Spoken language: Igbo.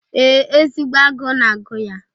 Ee, ezigbo agụụ na-agụ ya.